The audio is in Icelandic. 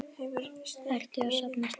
Ertu að safna stelli?